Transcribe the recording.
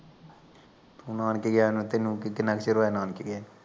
ਤੂੰ ਨਾਨਕੇ ਗਇਆ ਨੂੰ, ਤੈਨੂੰ ਕਿੰਨਾ ਕਿ ਚਿਰ ਹੋਇਆ ਨਾਨਕੇ ਗਿਆ